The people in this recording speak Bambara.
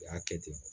U y'a kɛ ten